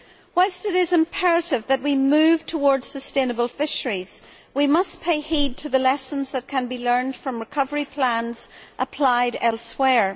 Whilst it is imperative that we move towards sustainable fisheries, we must pay heed to the lessons which can be learnt from recovery plans applied elsewhere.